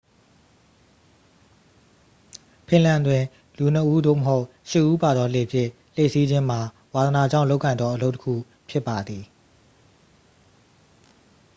ဖင်လန်တွင် လူ ခုနစ်ဦး သို့မဟုတ် ရှစ်ဦးပါသောလှေဖြင့် လှေစီးခြင်းမှာ ဝါသနာကြောင့်လုပ်ကိုင်သောအလုပ်တစ်ခုဖြစ်ပါသည်